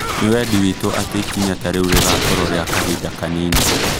Nĩ wendi witũ atĩ ikinya tarĩu rĩgakoruo rĩa kahinda kanini